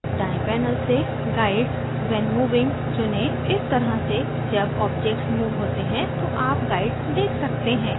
दायें panel से guides when moving चुनें इस तरह से जब objects मूव होते हैं तो आप guides देख सकते हैं